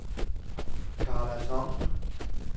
Karla Thomsen